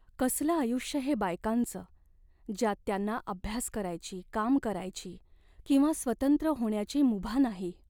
कसलं आयुष्य हे बायकांचं, ज्यात त्यांना अभ्यास करायची, काम करायची किंवा स्वतंत्र होण्याची मुभा नाही?